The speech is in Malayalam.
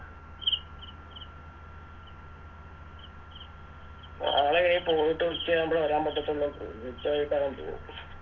നാളെയി പോയിട്ട് ഉച്ചയാകുമ്പളേ വരൻ പറ്റാത്തൊള്ളൂ മിക്കവാറും പോകും